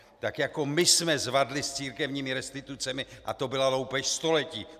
Tak jako my jsme zvadli s církevními restitucemi - a to byla loupež století!